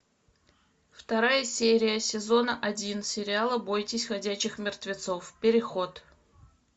вторая серия сезона один сериала бойтесь ходячих мертвецов переход